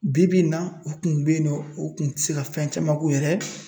Bi bi in na u kun be yen nɔ ,u kun te se ka fɛn caman k'u yɛrɛ ye.